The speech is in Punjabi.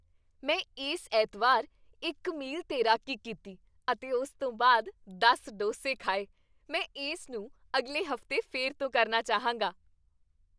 ਮੈਂ ਇਸ ਐਤਵਾਰ ਇੱਕ ਮੀਲ ਤੈਰਾਕੀ ਕੀਤੀ ਅਤੇ ਉਸ ਤੋਂ ਬਾਅਦ ਦਸ ਡੋਸੇ ਖਾਏ ਮੈਂ ਇਸ ਨੂੰ ਅਗਲੇ ਹਫ਼ਤੇ ਫਿਰ ਤੋਂ ਕਰਨਾ ਚਾਹਾਂਗਾ